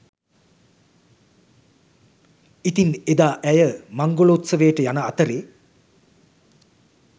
ඉතින් එදා ඇය මංගලෝත්සවයට යන අතරේ